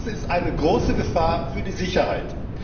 Das ist eine große Gefahr für die Sicherheit.